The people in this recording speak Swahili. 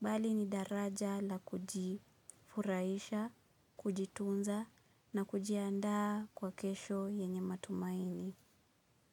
bali ni daraja la kujifurahisha, kujitunza na kujiandaa kwa kesho yenye matumaini.